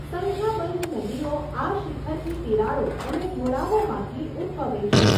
સંખ્યાબંધ નદીઓ આ શિખરની તિરાડો અને ઢોળાવોમાંથી ઉદ્ભવે છે.